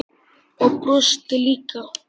Og brosti líka.